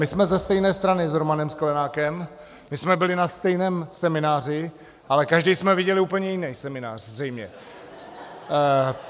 My jsme ze stejné strany s Romanem Sklenákem, my jsme byli na stejném semináři, ale každý jsme viděli úplně jiný seminář zřejmě.